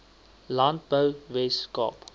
landbou wes kaap